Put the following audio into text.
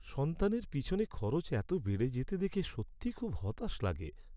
সন্তানের পেছনে খরচ এত বেড়ে যেতে দেখে সত্যিই খুব হতাশ লাগে।